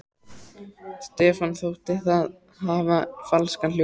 Stefáni þótti það hafa falskan hljóm.